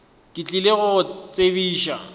ke tlile go go tsebiša